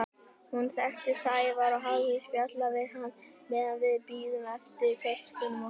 Hún þekkti Sævar og hafði spjallað við hann meðan við biðum eftir töskunum okkar.